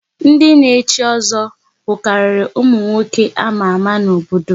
Ndị na echi ozo bukariri ụmụ nwoke ama ama n'obodo